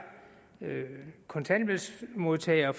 kontanthjælpsmodtagere